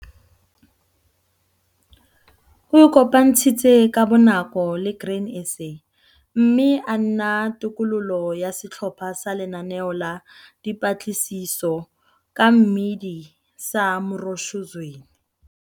O ikopantshitse ka bonako le Grain SA mme a nna tokololo ya Setlhopha sa Lenaneo la Dipatlisiso ka Mmidi sa Mroshozweni.